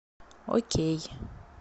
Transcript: окей